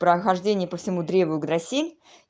прохождение по всему древу граси